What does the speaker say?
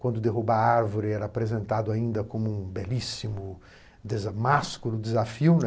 Quando derrubava a árvore, era apresentado ainda como um belíssimo, másculo desafio, né.